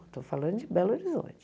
Estou falando de Belo Horizonte.